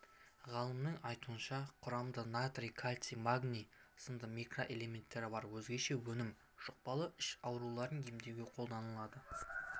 ғалымның айтуынша құрамында натрий кальций магний сынды микроэлементтері бар өзгеше өнім жұқпалы іш ауруларын емдеуге қолданылады